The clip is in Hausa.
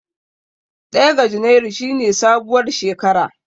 Ɗaya ga junairu shi ne sabuwar shekara.